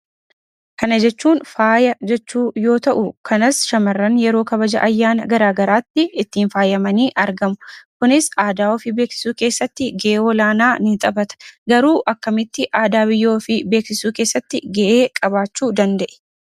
Kana jechuun faaya jechuu yoo ta'u, shamarran yeroo kabaja garaagaraatti ittiin faayamanii argamu. Kunis aadaa ofii beeksisuu keessatti gahee olaanaa ni taphata. Garuu akkamitti aadaa ofii beeksisuu keessatti gahee qabaachuu danda'e?